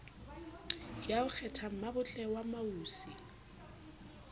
ya ho kgethammabotle wa mautse